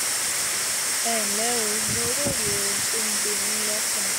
ẹ ǹlẹ́ o mo róye ohun tó ń gbé yín lọ́kàn